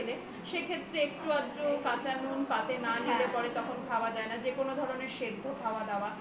সেক্ষেত্রে একটু-আধটু কাচা নুন পাতে না নিলে পারে তখন আর খাওয়া যায় না যে কোন ধরনের সেদ্ধ খাওয়া দাওয়া